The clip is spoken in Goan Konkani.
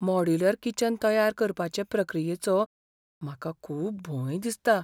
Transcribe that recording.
मॉड्यूलर किचन तयार करपाचे प्रक्रियेचो म्हाका खूब भंय दिसता.